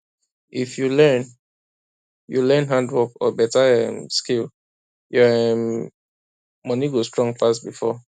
if you learn you learn handwork or beta um skill your um money go strong pass before